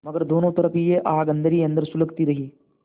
मगर दोनों तरफ यह आग अन्दर ही अन्दर सुलगती रही